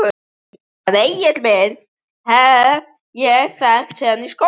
Hann Egil minn hef ég þekkt síðan í skóla.